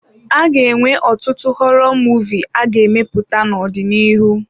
A ga-enwe ọtụtụ họrọ Muvịị a ga-emepụta n'ọdịnihu.